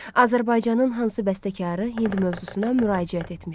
Azərbaycanın hansı bəstəkarı Hind mövzusuna müraciət etmişdi?